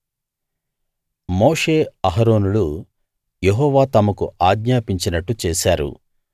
మోషే అహరోనులు యెహోవా తమకు ఆజ్ఞాపించినట్టు చేశారు